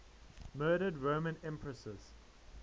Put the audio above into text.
murdered roman empresses